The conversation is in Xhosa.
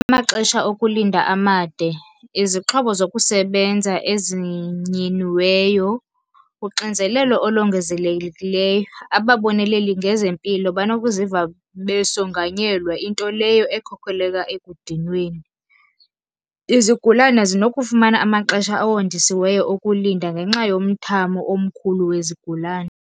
Amaxesha okulinda amade. Izixhobo zokusebenza ezinyiniweyo. Uxinzelelo olongezelelekileyo, ababoneleli ngezempilo banokuziva besonganyelwa into leyo ekhokeleka ekudinweni. Izigulane zinokufumana amaxesha awondisiweyo okulinda ngenxa yomthamo omkhulu wezigulane.